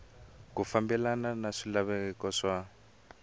ku fambelena na swilaveko swa